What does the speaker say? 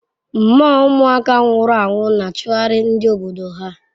Mmoo umuaka nwuru anwu n'achughari ndi obodo ahu